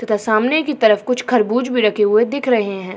तथा सामने की तरफ की कुछ खरबूज भी रखे हुए दिख रहे हैं।